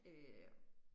Øh